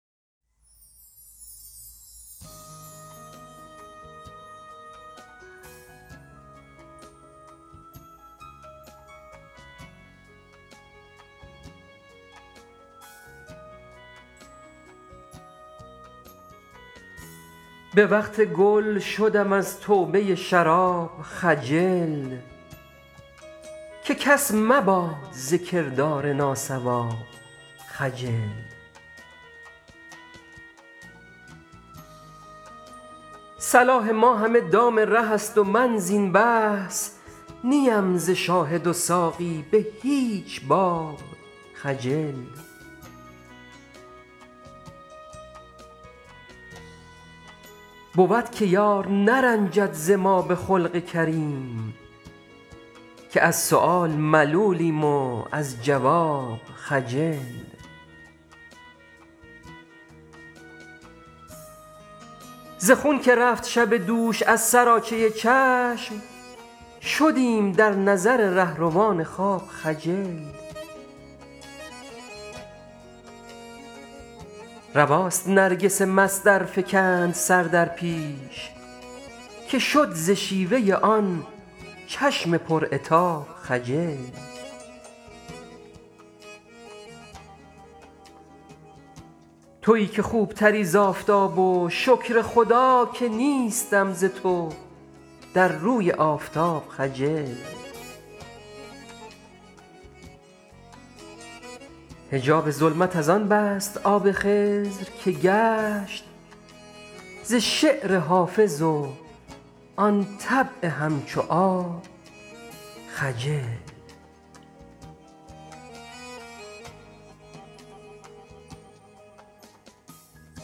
به وقت گل شدم از توبه شراب خجل که کس مباد ز کردار ناصواب خجل صلاح ما همه دام ره است و من زین بحث نی ام ز شاهد و ساقی به هیچ باب خجل بود که یار نرنجد ز ما به خلق کریم که از سؤال ملولیم و از جواب خجل ز خون که رفت شب دوش از سراچه چشم شدیم در نظر رهروان خواب خجل رواست نرگس مست ار فکند سر در پیش که شد ز شیوه آن چشم پر عتاب خجل تویی که خوب تری ز آفتاب و شکر خدا که نیستم ز تو در روی آفتاب خجل حجاب ظلمت از آن بست آب خضر که گشت ز شعر حافظ و آن طبع همچو آب خجل